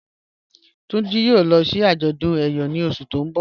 Tunji yòò lọ sí àjọdún ẹ̀yọ̀ ní ọṣù tí n bọ̀.